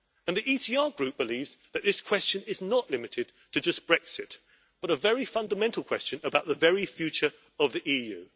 The ECR Group believes that this question is not limited to just Brexit, but a very fundamental question about the very future of the EU.